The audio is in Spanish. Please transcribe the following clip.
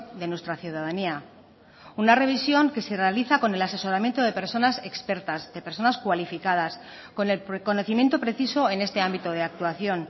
de nuestra ciudadanía una revisión que se realiza con el asesoramiento de personas expertas de personas cualificadas con el conocimiento preciso en este ámbito de actuación